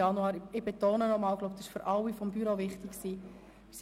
Ich betone nochmals, dass das für alle Mitglieder des Ratsbüros wichtig gewesen ist.